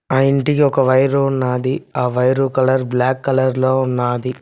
ఆ ఇంటికి ఒక వైర్ ఉన్నది ఆ వైరు కలర్ బ్లాక్ కలర్ లో ఉన్నది.